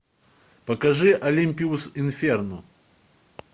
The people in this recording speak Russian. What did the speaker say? покажи олимпиус инферно